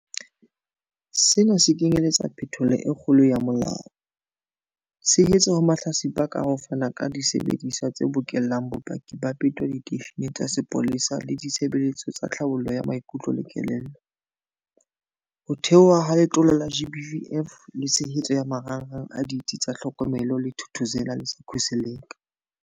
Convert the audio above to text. Sena se kenyeletsa phetholo e kgolo ya molao, tshehetso ho mahlatsipa ka ho fana ka disebediswa tse bokellang bopaki ba peto diteisheneng tsa sepolesa le ditshebeletso tsa tlhabollo ya maikutlo le kelello, ho theohwa ha Letlole la GBVF le tshehetso ya marangrang a Ditsi tsa Tlhokomelo tsa Thuthuzela le tsa Khuseleka.